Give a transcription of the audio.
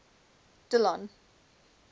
dillon